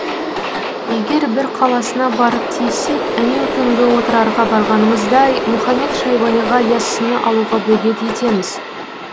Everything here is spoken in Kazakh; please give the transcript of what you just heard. егер бір қаласына барып тиіссек әнеукүнгі отырарға барғанымыздай мұхамед шайбаниға яссыны алуға бөгет етеміз